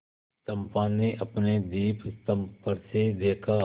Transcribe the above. चंपा ने अपने दीपस्तंभ पर से देखा